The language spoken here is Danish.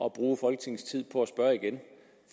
at bruge folketingets tid på at spørge igen